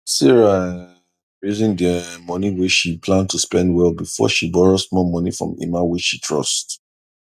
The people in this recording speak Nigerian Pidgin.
sarah um reason the um money wey she plan to spend well before she borrow small money from emma wey she trust